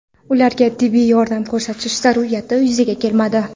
Ularga tibbiy yordam ko‘rsatish zarurati yuzaga kelmadi.